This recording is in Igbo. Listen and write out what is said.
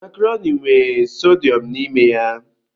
Makaroni nwe sodiyọm n'ime ya.